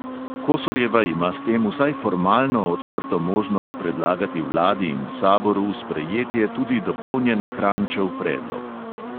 Kosorjeva ima s tem vsaj formalno odprto možnost predlagati vladi in saboru v sprejetje tudi dopolnjen kranjčev predlog.